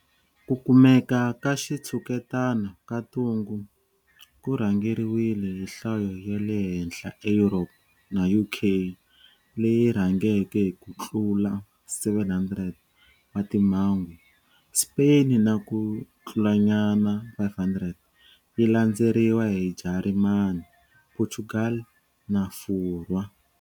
Ku kumeka ka xitshuketana ka ntungu ku rhangeriwile hi nhlayo ya le henhla eEurope na UK leyi rhangeke hi ku tlula 700 wa timhangu, Spain na ku tlulanyana 500, yi landzeriwa hi Jarimani, Portugal na Furwa.